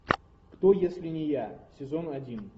кто если не я сезон один